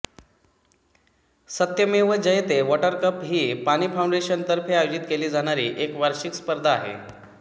सत्यमेव Jayate water cup ही पानी फाउंडेशनतर्फे आयोजित केली जाणारी एक वार्षिक स्पर्धा आहे